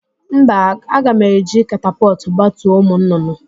Mba, a ga m eji katapọtụ gbatuo ụmụ nnụnụ